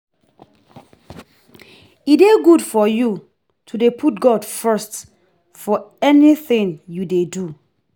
E dey good for you to dey put God first for anything you dey do